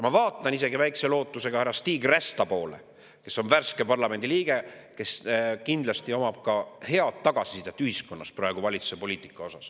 Ma vaatan isegi väikese lootusega härra Stig Rästa poole, kes on värske parlamendi liige ja kes kindlasti omab head ühiskonna tagasisidet valitsuse praegusele poliitikale.